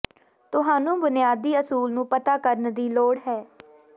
ਤੁਹਾਨੂੰ ਬੁਨਿਆਦੀ ਅਸੂਲ ਨੂੰ ਪਤਾ ਕਰਨ ਦੀ ਲੋੜ ਹੈ